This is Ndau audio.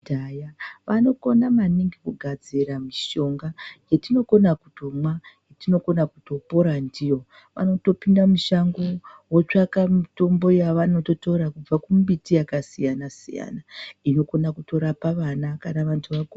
Kudhaya vanokona maningi kugadzira mishonga yatinokona kutomwa yatinokona kutopora ndiyo vanotopinda mushango vototsvaka mitombo yavanotora kubva kumiti yakasiyana -siyana inokona kutorapa vana kana vanhu vakuru.